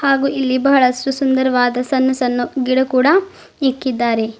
ಹಾಗೂ ಇಲ್ಲಿ ಬಹಳಷ್ಟು ಸುಂದರವಾದ ಸಣ್ಣು ಸಣ್ಣು ಗಿಡ ಕೂಡ ಇಕ್ಕಿದ್ದಾರೆ.